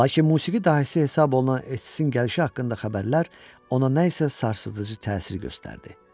Lakin musiqi dahisi hesab olunan Estsin gəlişi haqqında xəbərlər ona nə isə sarsıdıcı təsir göstərdi.